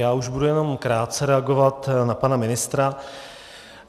Já už budu jenom krátce reagovat na pana ministra.